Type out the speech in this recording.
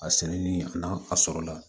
A sɛnɛni a n'a a sɔrɔla